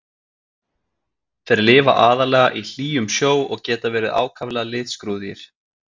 Þeir lifa aðallega í hlýjum sjó og geta verið ákaflega litskrúðugir.